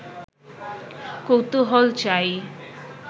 কৌতূহল চাই